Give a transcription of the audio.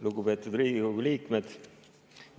Lugupeetud Riigikogu liikmed!